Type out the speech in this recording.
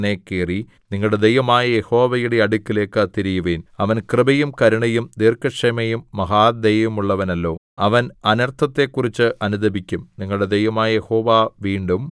വസ്ത്രങ്ങളല്ല ഹൃദയങ്ങൾ തന്നെ കീറി നിങ്ങളുടെ ദൈവമായ യഹോവയുടെ അടുക്കലേക്ക് തിരിയുവിൻ അവൻ കൃപയും കരുണയും ദീർഘക്ഷമയും മഹാദയയുമുള്ളവനല്ലോ അവൻ അനർത്ഥത്തെക്കുറിച്ച് അനുതപിക്കും